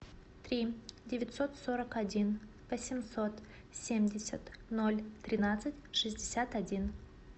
три девятьсот сорок один восемьсот семьдесят ноль тринадцать шестьдесят один